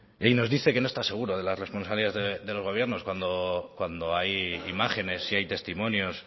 y nos dice que no está seguro de la responsabilidad del gobierno cuando hay imágenes y hay testimonios